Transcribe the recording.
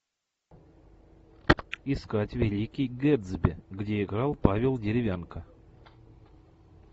искать великий гэтсби где играл павел деревянко